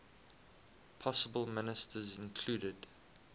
possible ministers included